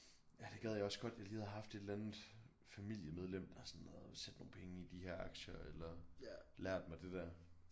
Ja det gad jeg også godt jeg lige havde haft et eller andet familiemedlem der sådan havde sæt nogle penge i de her aktier eller lært mig det der